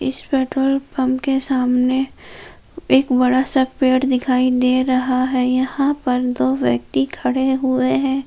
इस petrol pump के सामने एक बड़ा सा पेड़ दिखाई दे रहा है यहां पर दो व्यक्ति खड़े हुए हैं।